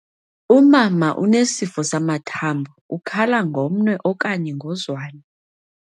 Umama unesifo samathambo, ukhala ngomnwe okanye ngozwane.